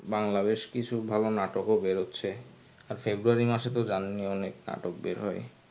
বাংলা বেশ কিছু ভালো নাটকও বের হচ্ছে আর february মাসে তো জানেনই অনেক নাটক বের হয়.